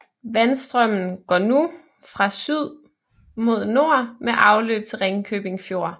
Vandstrømmen går nu fra syd mod nord med afløb til Ringkøbing Fjord